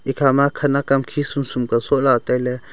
khama khanak kam khi sumsum ka soh la ataile.